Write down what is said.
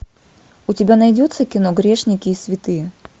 у тебя найдется кино грешники и святые